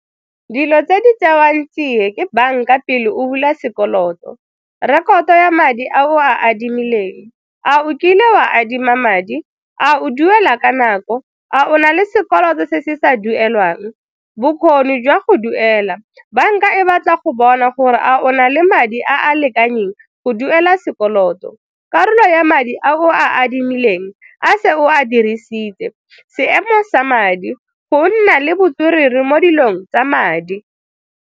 Dilo tse di tsewang tsiya ke banka pele o bula sekoloto, rekoto ya madi, a o a adimileng a o kile o adima madi, a o duela ka nako, a o na le sekoloto se se sa duelwang bokgoni jwa go duela? Banka e batla go bona gore a o na le madi a a lekaneng go duela sekoloto, karolo ya madi a o a adimileng a se o a dirisitse, seemo sa madi, go nna le botswerere mo dilong tsa madi.